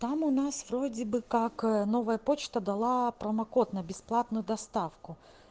там у нас вроде бы как новая почта дала промокод на бесплатную доставку